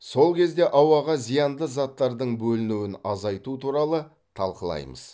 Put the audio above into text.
сол кезде ауаға зиянды заттардың бөлінуін азайту туралы талқылаймыз